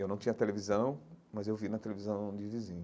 Eu não tinha televisão, mas eu vi na televisão de vizinho.